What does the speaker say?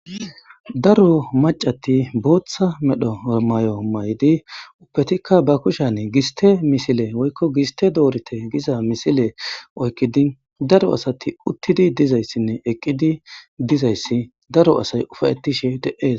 Daro maccati booththa medho mayyo mayidi ubbetikka ba kushiyani gistte misile woykko gistte doritte giza misile oykkidi daro asati uttizi dizayssinne eqqidi dizayssi daro asay ufaytishe de7ees.